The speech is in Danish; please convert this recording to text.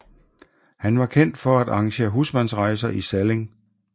Han var kendt for at arrangere husmandsrejser i Salling